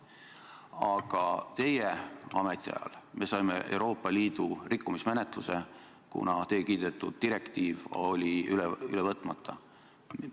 Aga teie ametiajal algatati Euroopa Liidu rikkumismenetlus, kuna teie kiidetud direktiiv oli üle võtmata.